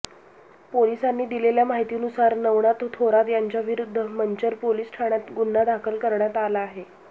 पोलिसांनी दिलेल्या माहितीनुसार नवनाथ थोरात यांच्याविरूद्ध मंचर पोलीस ठाण्यात गुन्हा दाखल करण्यात आला आहे